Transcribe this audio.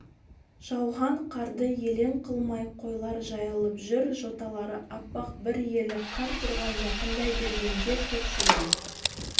жауған қарды елең қылмай қойлар жайылып жүр жоталары аппақ бір елі қар тұрған жақындай бергенде көкшулан